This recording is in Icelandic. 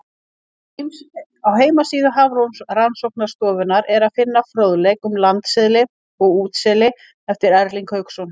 Á heimasíðu Hafrannsóknastofnunarinnar er að finna fróðleik um landseli og útseli eftir Erling Hauksson.